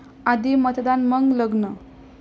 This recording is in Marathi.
आधी मतदान मग लग्न!